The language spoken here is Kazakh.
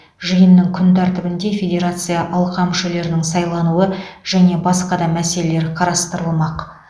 жиынның күн тәртібінде федерация алқа мүшелерінің сайлануы және басқа да мәселелер қарастырылмақ